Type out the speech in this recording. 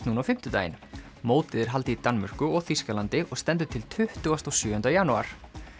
núna á fimmtudaginn mótið er haldið í Danmörku og Þýskalandi og stendur til tuttugasta og sjöunda janúar